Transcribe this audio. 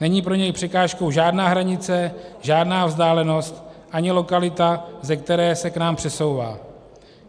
Není pro něj překážkou žádná hranice, žádná vzdálenost ani lokalita, ze které se k nám přesouvá.